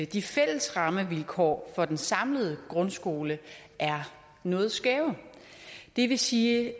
de fælles rammevilkår for den samlede grundskole er noget skæve det vil sige i